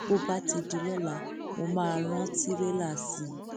bó bá ti di lọla mo máa rán tìrẹlà sí i